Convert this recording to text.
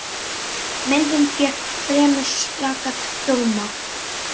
Myndin fékk fremur slaka dóma.